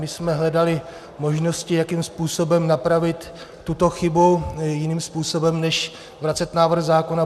My jsme hledali možnosti, jakým způsobem napravit tuto chybu jiným způsobem než vracet návrh zákona.